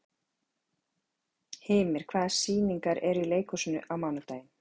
Hymir, hvaða sýningar eru í leikhúsinu á mánudaginn?